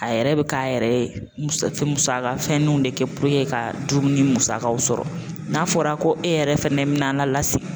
A yɛrɛ bɛ k'a yɛrɛ musaka fɛnninw de kɛ ka dumuni musakaw sɔrɔ n'a fɔra ko e yɛrɛ fɛnɛ me n'a an lasigi